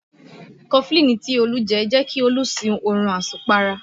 Cofflin tí olú jẹ́ kí ó sún oorun asùn para